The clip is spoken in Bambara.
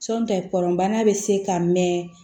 kɔnbana bɛ se ka mɛn